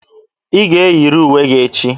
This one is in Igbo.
Ị ga-eyiri uwe gị echi!